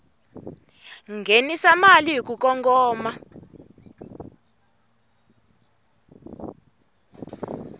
nghenisa mali hi ku kongoma